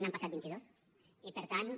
n’han passat vint i dos i per tant